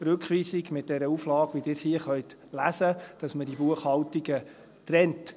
Rückweisung mit der Auflage, wie Sie sie hier lesen können, damit man diese Buchhaltungen trennt.